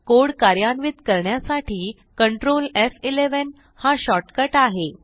code कार्यान्वित करण्यासाठी control एफ11 हा शॉर्टकट आहे